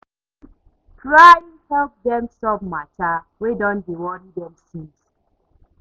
Try help dem solve mata wey don dey wori dem since